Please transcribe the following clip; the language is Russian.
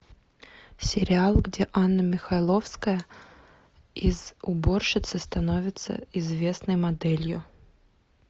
сериал где анна михайловская из уборщицы становится известной моделью